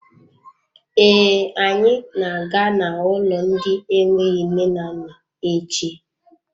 Ee, anyị na-aga n'ụlọ ndị enweghị nne na nna echi.